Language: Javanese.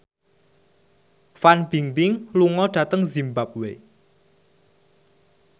Fan Bingbing lunga dhateng zimbabwe